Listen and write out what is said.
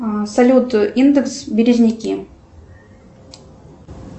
салют индекс березняки